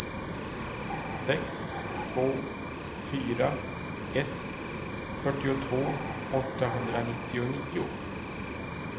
sex två fyra ett fyrtiotvå åttahundranittionio